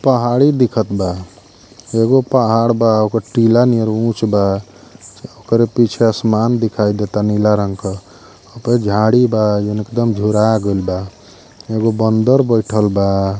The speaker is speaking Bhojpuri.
पहाड़ी दिखत बा। एगो पहाड़ बा ओकर टीला नियर उंच बा। ओकरे पीछे आसमान दिखाई देता नीला रंग क। होपे झांड़ी बा जौन एकदम झूरा गइल बा। एगो बंदर बाईठल बा।